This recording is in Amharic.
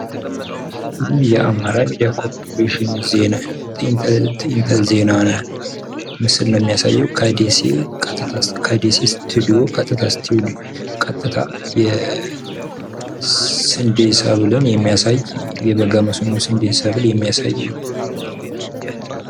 ይህ የአማራ ሚድያ ኮርፖሬሽን ዜና ምስል ነው ሚያሳየው ፤ ከደሴ ስቲዲዮ ቀጥታ የሚያሳይ ፤ የበጋ ስንዴ ሰብልን የሚያሳይ ፎቶ ነው።